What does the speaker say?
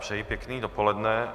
Přeji pěkné dopoledne.